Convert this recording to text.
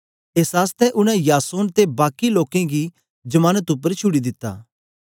एस आसतै उनै यासोन ते बाकी लोकें गी जमानत उपर छुड़ी दिता